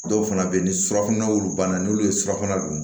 Dɔw fana bɛ yen ni surafana olu banna n'olu ye surafana dun